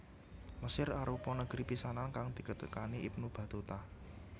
Mesir arupa negri pisanan kang ditekani Ibnu Batutah